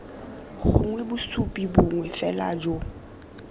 gongwe bosupi bongwe fela jo